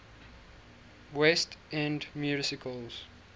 west end musicals